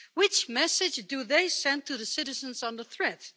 What message do they send to the citizens under threat?